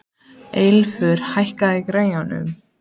Eilífur, hækkaðu í græjunum.